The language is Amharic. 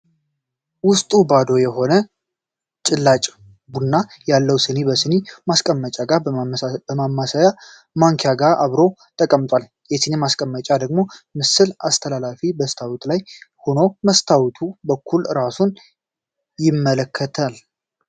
ዉስጡ ባዶ የሆነ ጭላጭ ቡና ያለው ሲኒ በሲኒ ማስቀመጫው ጋር ከማማሰያ ማንኪያ ጋር አብሮ ተቀምጧል። የሲኒ ማስቀመጫው ደግሞ ምስል አስተላላፊ መስታወት ላይ ሆኖ በመስታወቱ በኩልም ራሱን ያመላክታል።